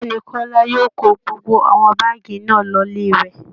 Bẹ́ẹ̀ ni, Kọ́lá yóò kó gbogbo àwọn báàgì náà lọlé rẹ̀